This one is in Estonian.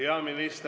Hea minister ….